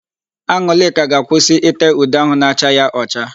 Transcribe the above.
An̄ụlịka ga-akwụsị íté ude áhụ̀ na-acha ya ọcha.